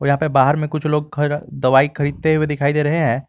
यहां पे बाहर में कुछ लोग दवाई खरीदने हुए दिखाई दे रहे हैं।